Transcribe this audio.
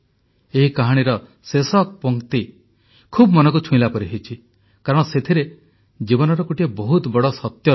ଏହି କାହାଣୀର ଶେଷ ପଂକ୍ତି ଖୁବ ମନକୁ ଛୁଇଁଲା ପରି ହୋଇଛି କାରଣ ସେଥିରେ ଜୀବନର ଗୋଟିଏ ବହୁତ ବଡ଼ ସତ୍ୟ ରହିଛି